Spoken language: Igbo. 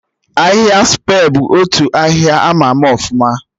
Ahịhịa Spe bụ otu ahịhịa ama ama ọfụma